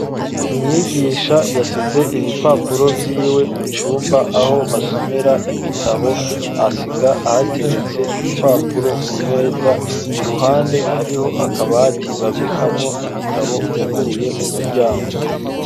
Umwigisha yasize ibipapuro vyiwe mu cumba aho basomera ibitabo ahasiga ahateretse ibipapuro ku meza iruhande hariho akabati babikamwo ibitabo kuguruye umuryango.